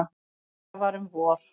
Þetta var um vor.